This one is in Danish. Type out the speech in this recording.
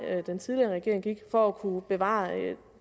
den tidligere regering gik for at kunne bevare det